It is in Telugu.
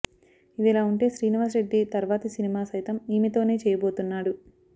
ఇదిలా ఉంటే శ్రీనివాస్ రెడ్డి తర్వాతి సినిమా సైతం ఈమెతోనే చేయబోతున్నాడు